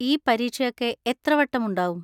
ഈ പരീക്ഷയൊക്കെ എത്ര വട്ടം ഉണ്ടാകും?